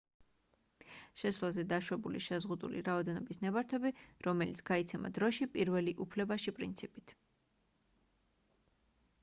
შესვლაზე დაშვებულის შეზღუდული რაოდენობის ნებართვები რომელიც გაიცემა დროში პირველი უფლებაში პრინციპით